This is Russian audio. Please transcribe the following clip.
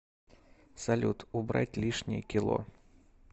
салют убрать лишние кило